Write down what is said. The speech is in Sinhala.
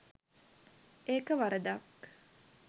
ඒක වරදක්.